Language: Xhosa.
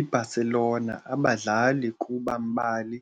I-Barcelona abadlali kuba mbali